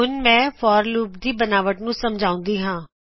ਹੁਨ ਮੈਂ forਲੂਪ ਦੀ ਸਨਰਚਨਾ ਨੂੰ ਸਮਝਾਉਂਦੀ ਹਾਂ